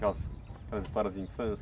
Aquelas aquelas histórias de infância.